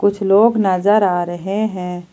कुछ लोग नजर आ रहे हैं।